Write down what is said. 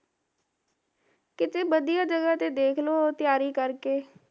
ਕਿਤੇ ਵਧੀਆ ਜਗਾ ਤੇ ਦੇਖਲੋ, ਤਿਆਰੀ ਕਰਕੇ